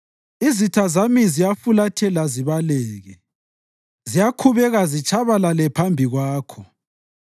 Izitha zami ziyafulathela zibaleke; ziyakhubeka zitshabalale phambi kwakho.